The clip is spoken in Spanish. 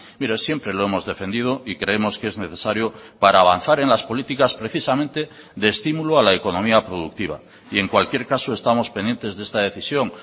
mire siempre lo hemos defendido y creemos que es necesario para avanzar en las políticas precisamente de estímulo a la economía productiva y en cualquier caso estamos pendientes de esta decisión